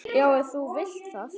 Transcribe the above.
Já, ef þú vilt það.